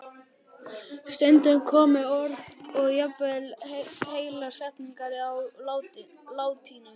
Stundum komu orð og jafnvel heilar setningar á latínu.